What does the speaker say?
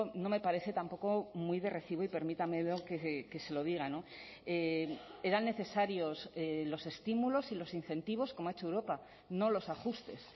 no me parece tampoco muy de recibo y permítamelo que se lo diga eran necesarios los estímulos y los incentivos como ha hecho europa no los ajustes